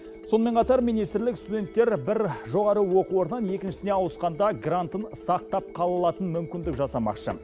сонымен қатар министрлік студенттер бір жоғары оқу орнынан екіншісіне ауысқанда грантын сақтап қала алатын мүмкіндік жасамақшы